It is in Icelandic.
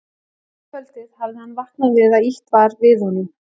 Annað kvöldið hafði hann vaknað við að ýtt var við honum.